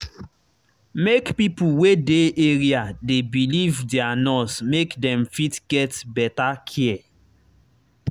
make pipo wey dey area dey believe their nurse make dem fit get better care.